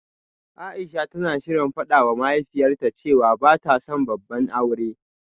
Aisha tana shirin fadawa mahaifiyarta cewa bata son babban aure